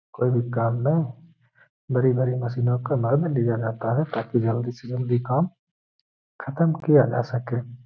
कोई भी काम मे बड़ी-बड़ी मशीनों का लाभ लिया जाता है ताकि जल्दी से जल्दी काम खत्म किया जा सके।